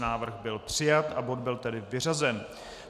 Návrh byl přijat a bod byl tedy vyřazen.